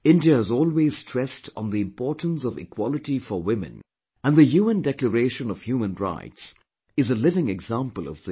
India has always stressed on the importance of equality for women and the UN Declaration of Human Rights is a living example of this